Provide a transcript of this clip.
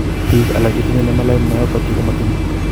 Biik alak chetinye nemaline myopathy ko matinye